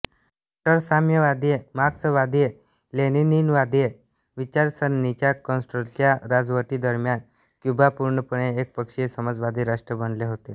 कट्टर साम्यवादी मार्क्सवादीलेनिनवादी विचारसरणीच्या कॅस्ट्रोच्या राजवटीदरम्यान क्यूबा पूर्णपणे एकपक्षीय समाजवादी राष्ट्र बनले होते